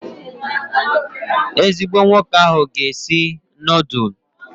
Ezigbo nwoke ahụ ga-esi nudulu